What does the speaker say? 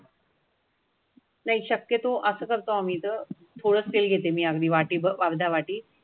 नाही शक्यतो असं करतो आम्ही तर थोडं तेल घेते मी अगदी वाटी बरधा वाटी